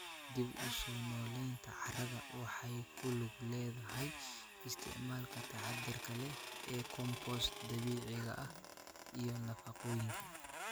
Dib-u-soo-noolaynta carrada waxay ku lug leedahay isticmaalka taxaddarka leh ee compost dabiiciga ah iyo nafaqooyinka.